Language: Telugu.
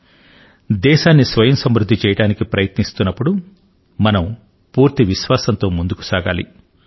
ప్రస్తుతం దేశాన్ని స్వయంసమృద్దం చేయడానికి ప్రయత్నిస్తున్న తరుణం లో మనం పూర్తి విశ్వాసంతో ముందుకు సాగాలి